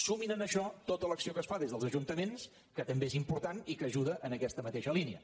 sumin a això tota l’acció que es fa des dels ajuntaments que també és important i que ajuda en aquesta mateixa línia